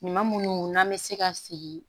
Ɲuman munnu n'an be se ka sigi